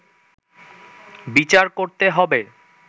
বিচার করতে হবে”